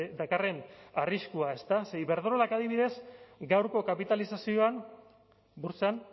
dakarren arriskua ezta ze iberdrolak adibidez gaurko kapitalizazioan burtsan